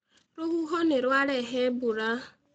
Rũhuho nĩ rwarehe mbura.